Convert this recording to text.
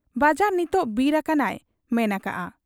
ᱵᱟᱡᱟᱨ ᱱᱤᱛ ᱵᱤᱨ ᱟᱠᱟᱱᱟᱭ ᱢᱮᱱ ᱟᱠᱟᱜ ᱟ ᱾